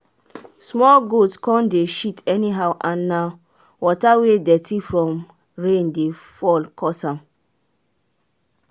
small goat come dey shit anyhow and na water wey dirty from rain dey fall cause am